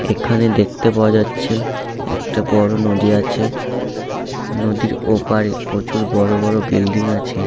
এখানে দেখতে পাওয়া যাচ্ছে একটা বড় নদী আছে নদীর ওপারে প্রচুর বড় বড় বিল্ডিং আছে।